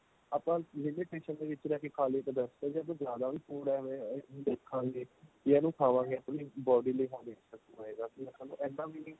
ਆਪਾਂ ਵਿੱਚ ਰਹਿ ਕੇ ਖਾ ਲੀਏ ਤਾਂ best ਏ ਜੇ ਆਪਾਂ ਜਿਆਦਾ ਵੀ food ਏਵੈ ਦੇਖਾਗੇ ਯਾ ਇਹਨੂੰ ਖਾਵਾਗੇ ਆਪਣੀ body ਲਈ ਹਾਨੀਕਾਰਕ ਹੋਏਗਾ ਕੀ ਆਪਾਂ ਨੂੰ ਇੰਨਾ ਵੀ ਨਹੀਂ